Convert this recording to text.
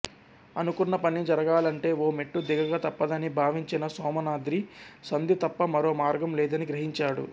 అనుకున్న పని జరుగాలంటే ఓ మెట్టు దిగక తప్పదని భావించిన సోమనాద్రి సంధి తప్ప మరో మార్గం లేదని గ్రహించాడు